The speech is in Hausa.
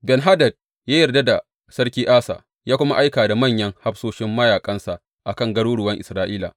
Ben Hadad ya yarda da Sarki Asa ya kuma aika da manyan hafsoshin mayaƙansa a kan garuruwan Isra’ila.